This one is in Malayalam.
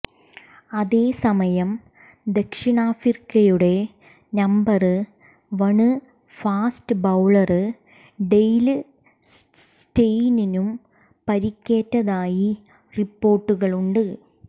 അതേസമയം ദക്ഷിണാഫ്രിക്കയുടെ number one fast bowler Dale സ്റ്റെയിനിനും പരിക്കേറ്റതായി റിപ്പോര്ട്ടുകളുണ്ട്